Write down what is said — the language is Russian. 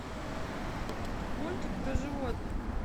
мультик про животных